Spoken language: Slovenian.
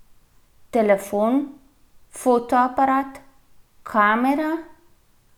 Telefon, fotoaparat, kamera?